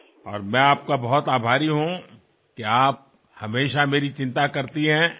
আর আমি আপনার কাছে অত্যন্ত কৃতজ্ঞ এই কারণে যে আপনি সবসময় আমার ভালোর জন্য চিন্তা করেন